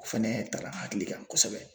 Fɛnɛ tara n hakili kan kosɛbɛ